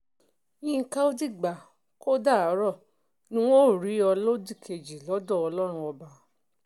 yinka ò dìgbà kó o dàárò ní n óò rí ọ lódì kejì lọ́dọ̀ ọlọ́run ọba